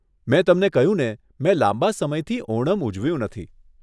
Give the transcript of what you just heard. મેં તમને કહ્યુંને, મેં લાંબા સમયથી ઓણમ ઉજવ્યું નથી.